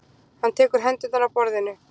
Hann tekur hendurnar af borðinu.